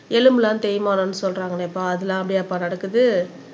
எலும்பெல்லாம் தேய்மானம்னு சொல்றாங்களேப்பா அதெல்லாம் அப்படியாப்பா நடக்குது